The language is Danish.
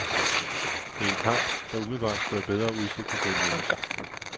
Det er en kamp, der umiddelbart skulle have bedre udsigter til at lykkes.